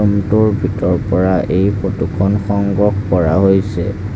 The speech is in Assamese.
ৰুম টোৰ ভিতৰ পৰা এই ফটো খন সংগ্ৰহ কৰা হৈছে।